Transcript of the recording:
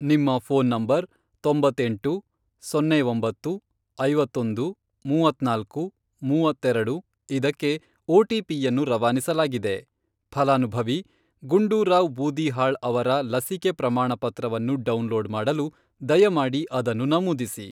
ನಿಮ್ಮ phone number ,ತೊಂಬತ್ತೆಂಟು, ಸೊನ್ನೆ ಒಂಬತ್ತು, ಐವತ್ತೊಂದು, ಮೂವತ್ನಾಲ್ಕು, ಮೂವತ್ತೆರೆಡು, ಇದಕ್ಕೆ ಒಟಿಪಿ ಯನ್ನು ರವಾನಿಸಲಾಗಿದೆ. ಫಲಾನುಭವಿ ಗುಂಡೂರಾವ್ ಬೂದಿಹಾಳ್ ಅವರ ಲಸಿಕೆ ಪ್ರಮಾಣಪತ್ರವನ್ನು ಡೌನ್ಲೋಡ್ ಮಾಡಲು ದಯಮಾಡಿ ಅದನ್ನು ನಮೂದಿಸಿ.